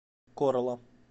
корла